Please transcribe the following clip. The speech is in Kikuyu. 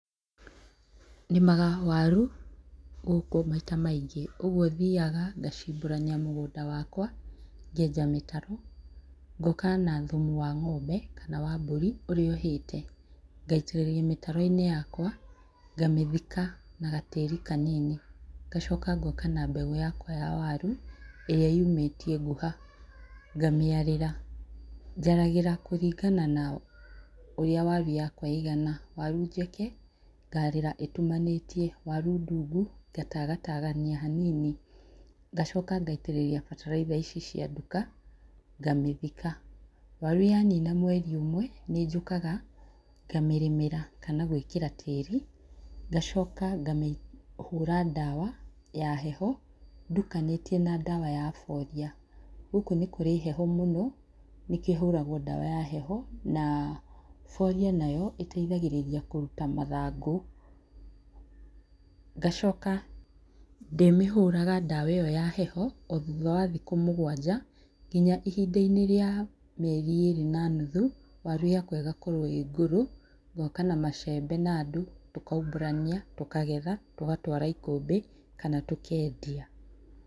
Nĩmaga waru gũkũ maita maingĩ ũguo thiaga ngacimbũrania mũgũnda wakwa ngenja mĩtaro ngoka na thumu wa ngo'mbe kana wa mbũri na ũrĩa ũhĩte ngaitĩrĩria mĩtaro-inĩ yakwa ngamĩthika na gatĩri kanini. Ngacoka ngoka na mbegũ yakwa ya waru ĩrĩa nyũmĩtie ngũha ngamĩarĩra. Njaragĩra kũringana na ũria waru yakwa ĩigana waru njeke ngarĩra ĩtumanĩtie waru ndundu ngatagatagania hanini ngacoka ngaitĩrĩria bataraitha ici cia nduka ngamĩthika waru yanina mweri ũmwe nĩnjũkaga ngamĩrĩmĩra kana gwĩkĩra tĩri ngacoka ngamĩhũra ndawa ya heho ndukanĩtie na ndawa ya foliar gũkũ nĩ kũrĩ heho mũno nĩkĩo hũraga ndawa ya heho na foliar nayo ĩteithagĩrĩria kũruta mathangũ. Ngacoka ndĩmĩhũraga ndawa ĩyo ya heho o thutha wa thikũ mũgwanja nginya ihindainĩ rĩa mĩeri ĩrĩ na nuthu waru yakwa ĩgakorwo ĩ ngũrũ. Ngoka na macembe na andũ tũkaumbũrania tũkagetha tũgatwara ikũmbĩ kana tũkendia.